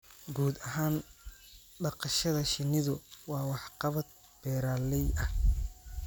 Guud ahaan, dhaqashada shinnidu waa waxqabad beeralay ah